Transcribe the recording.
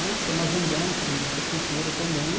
Né Estamos agendando com o Ministro da Cultura também.